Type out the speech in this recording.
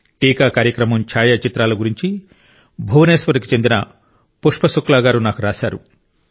టీకా కార్యక్రమం ఛాయాచిత్రాల గురించి భువనేశ్వర్కు చెందిన పుష్ప శుక్లా గారు నాకు రాశారు